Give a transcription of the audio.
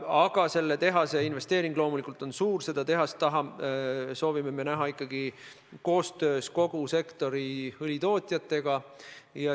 Aga selle tehase investeering loomulikult on suur ja me soovime selle rajada ikkagi koostöös kogu sektori õlitootjatega.